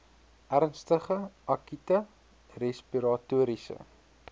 ernstige akute respiratoriese